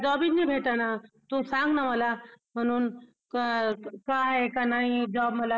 job हि भेटणं तू संग न मला म्हणून काय आहे का नाही मला